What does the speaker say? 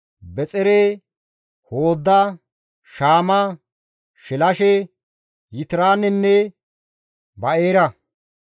Bexere, Hooda, Shaama, Shilashe, Yitiraanenne Ba7eera.